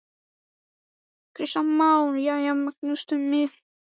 Kristján Már: Jæja Magnús Tumi, hvað sáuð þið úr vélinni?